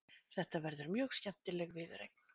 Þetta verður mjög skemmtileg viðureign.